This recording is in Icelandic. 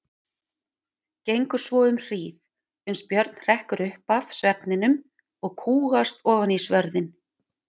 Gengur svo um hríð, uns Björn hrekkur upp af svefninum og kúgast ofan í svörðinn.